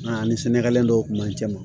A ani sɛnɛgali dɔw kun b'an cɛ ma